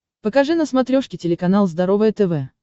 покажи на смотрешке телеканал здоровое тв